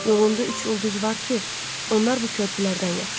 Yolunda üç ulduz var ki, onlar bu körpələrdən yapışıb.